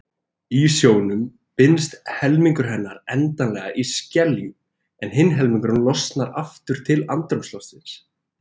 Í sjónum binst helmingur hennar endanlega í skeljum en hinn helmingurinn losnar aftur til andrúmsloftsins.